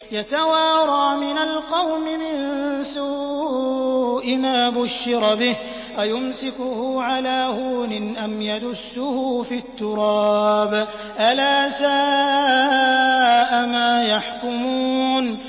يَتَوَارَىٰ مِنَ الْقَوْمِ مِن سُوءِ مَا بُشِّرَ بِهِ ۚ أَيُمْسِكُهُ عَلَىٰ هُونٍ أَمْ يَدُسُّهُ فِي التُّرَابِ ۗ أَلَا سَاءَ مَا يَحْكُمُونَ